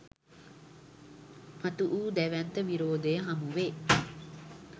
මතු වූ දැවැන්ත විරෝධය හමුවේ